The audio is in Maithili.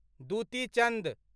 दुती चन्द